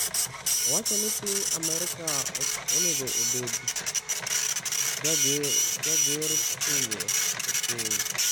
Owacho ni piny Amerka ok onego obed “jager pinje” e piny.